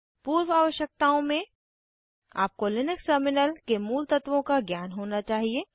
पूर्व आवश्यकताओं में आपको लिनक्स टर्मिनल के मूल तत्वों का ज्ञान होना चाहिए